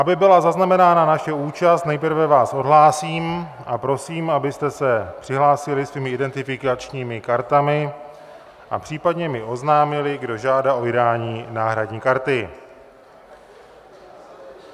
Aby byla zaznamenána naše účast, nejprve vás odhlásím a prosím, abyste se přihlásili svými identifikačními kartami a případně mi oznámili, kdo žádá o vydání náhradní karty.